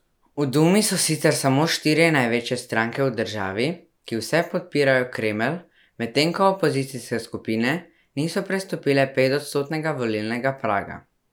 V dumi so sicer samo štiri največje stranke v državi, ki vse podpirajo Kremelj, medtem ko opozicijske skupine niso prestopile petodstotnega volilnega praga.